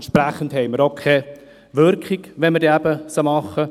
Entsprechend haben wir auch keine Wirkung, wenn wir eine einreichen.